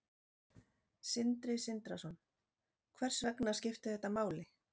Sindri Sindrason: Hvers vegna skipti þetta máli?